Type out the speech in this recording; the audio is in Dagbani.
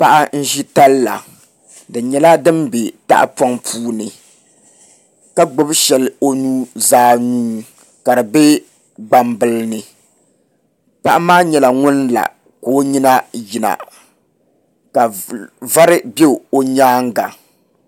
Paɣa n ʒi talla di nyɛla din bɛ tahapoŋ puuni ka gbubi shɛli o nuzaa puuni ka di bɛ gbambili ni paɣa maa nyɛla ŋun la ka o nyina yina ka vari bɛ o nyaanga